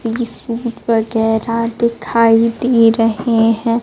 तीस फुट पर गहरा दिखाई दे रहे हैं।